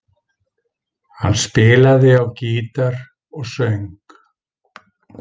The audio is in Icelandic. Hann spilaði á gítar og söng.